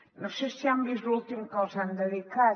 no sé si han vist l’últim que els han dedicat